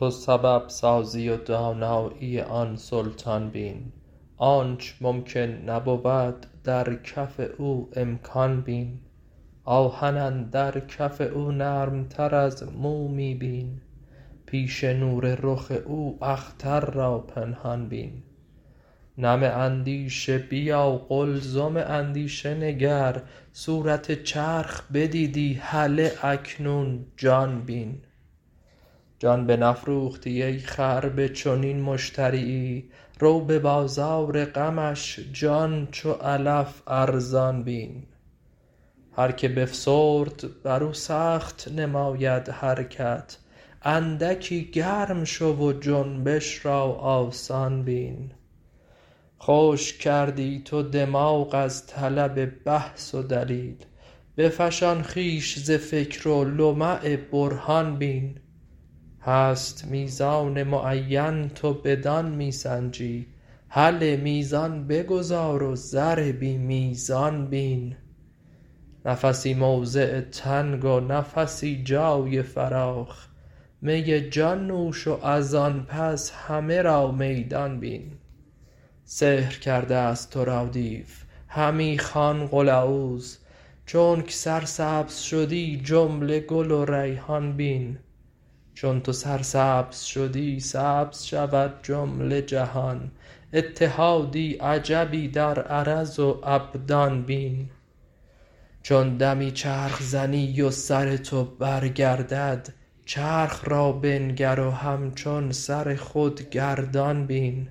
تو سبب سازی و دانایی آن سلطان بین آنچ ممکن نبود در کف او امکان بین آهن اندر کف او نرمتر از مومی بین پیش نور رخ او اختر را پنهان بین نم اندیشه بیا قلزم اندیشه نگر صورت چرخ بدیدی هله اکنون جان بین جان بنفروختی ای خر به چنین مشتریی رو به بازار غمش جان چو علف ارزان بین هر کی بفسرد بر او سخت نماید حرکت اندکی گرم شو و جنبش را آسان بین خشک کردی تو دماغ از طلب بحث و دلیل بفشان خویش ز فکر و لمع برهان بین هست میزان معینت و بدان می سنجی هله میزان بگذار و زر بی میزان بین نفسی موضع تنگ و نفسی جای فراخ می جان نوش و از آن پس همه را میدان بین سحر کرده ست تو را دیو همی خوان قل اعوذ چونک سرسبز شدی جمله گل و ریحان بین چون تو سرسبز شدی سبز شود جمله جهان اتحادی عجبی در عرض و ابدان بین چون دمی چرخ زنی و سر تو برگردد چرخ را بنگر و همچون سر خود گردان بین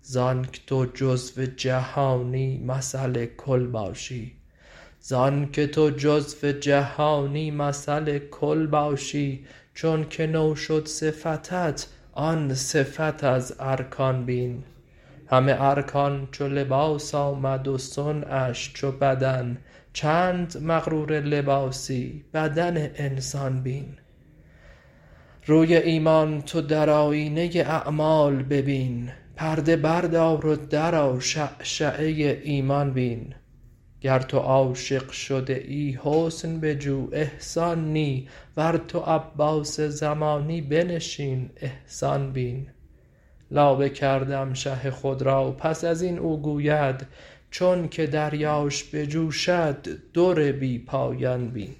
ز آنک تو جزو جهانی مثل کل باشی چونک نو شد صفتت آن صفت از ارکان بین همه ارکان چو لباس آمد و صنعش چو بدن چند مغرور لباسی بدن انسان بین روی ایمان تو در آیینه اعمال ببین پرده بردار و درآ شعشعه ایمان بین گر تو عاشق شده ای حسن بجو احسان نی ور تو عباس زمانی بنشین احسان بین لابه کردم شه خود را پس از این او گوید چونک دریاش بجوشد در بی پایان بین